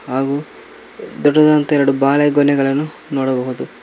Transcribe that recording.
ದೊಡ್ಡದಾದಂತಹ ಎರಡು ಬಾಳೆಗೊನೆಗಳನ್ನು ನೋಡಬಹುದು.